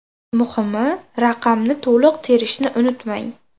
Muhimi, raqamni to‘liq terishni unutmang!